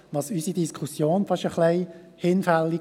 Das macht unsere Diskussion fast ein wenig hinfällig.